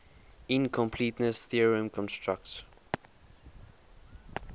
incompleteness theorem constructs